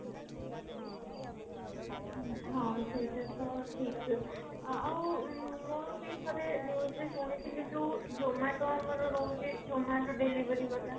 ହଁ ସେଇଟା ତ ଠିକ ଆଉ ଉଁ ମୁଁ ଠାରେ ଏମିତି ଶୁଣିଥିଲି ଯୋଉ zomato ଆମର ରହୁଛି zomato delivery ବାଲା